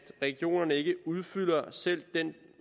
regionerne ikke udfylder selv den